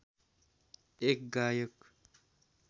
एक गायक